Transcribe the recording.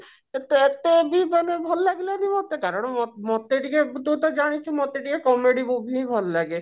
ସେଟା ଏତେବି ମତେ ଭଲ ଲାଗିଲାନି ମତେ କାରଣ ମତେ ଟିକେ ତୁ ତ ଜାଣିଛୁ ମତେ ଟିକେ comedy movie ଟିକେ ଭଲ ଲାଗେ